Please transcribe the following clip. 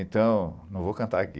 Então, não vou cantar aqui.